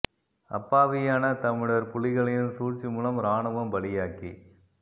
அப்பாவியான தமிழர் புலிகளின் சூழ்சிமூலம் இராணுவம் பலியாக்கி